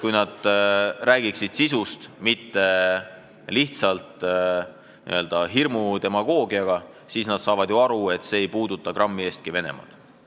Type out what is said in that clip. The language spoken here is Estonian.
Kui nad räägiksid sisust, mitte ei kasutaks demagoogitsedes hirmutamist, siis nad ju saaksid aru, et see eelnõu ei puuduta grammi võrragi Venemaad.